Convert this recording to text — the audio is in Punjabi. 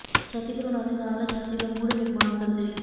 ਛਾਤੀ ਭਰੂਣਾਂ ਦੇ ਨਾਲ ਛਾਤੀ ਦਾ ਮੁੜ ਨਿਰਮਾਣ ਸਰਜਰੀ